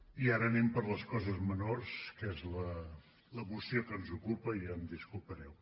i ara anem per les coses menors que és la moció que ens ocupa i ja em disculpareu